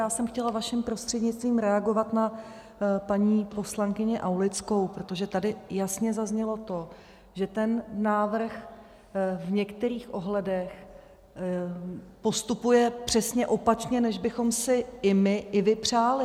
Já jsem chtěla vaším prostřednictvím reagovat na paní poslankyni Aulickou, protože tady jasně zaznělo to, že ten návrh v některých ohledech postupuje přesně opačně, než bychom si i my, i vy přáli.